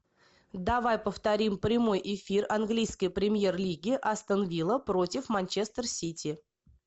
давай повторим прямой эфир английской премьер лиги астон вилла против манчестер сити